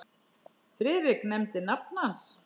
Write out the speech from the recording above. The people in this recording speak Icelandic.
Friðrik nefndi nafn hans.